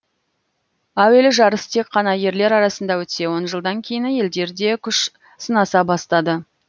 әуелі жарыс тек қана ерлер арасында өтсе он жылдан кейін әйелдер де күш сынаса бастады